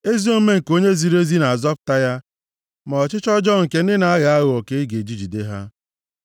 Ezi omume nke onye ziri ezi na-azọpụta ya; ma ọchịchọ ọjọọ nke ndị na-aghọ aghụghọ ka a ga-eji jide ha.